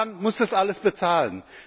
Die Bahn muss das alles bezahlen.